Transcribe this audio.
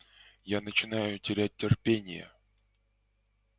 я начинаю терять терпение